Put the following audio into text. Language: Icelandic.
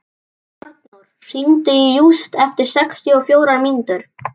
Arnór, hringdu í Júst eftir sextíu og fjórar mínútur.